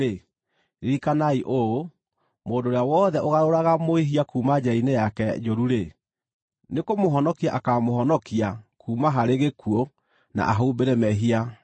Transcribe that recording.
ririkanai ũũ: Mũndũ ũrĩa wothe ũgarũraga mwĩhia kuuma njĩra-inĩ yake njũru-rĩ, nĩkũmũhonokia akaamũhonokia kuuma harĩ gĩkuũ na ahumbĩre mehia maingĩ.